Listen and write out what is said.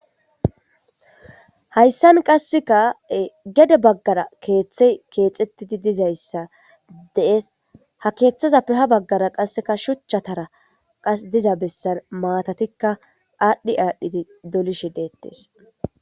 hayssan qasseka gede baggara keeththe keexettidi dizayssa dees ha keeththazappe ha baggara qasseka shuchchatara qas diza bessan maatatikka aadhdhi aadhdhidi dolishi deettes